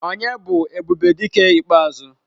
Onye bu Ebubedike ikpeazu?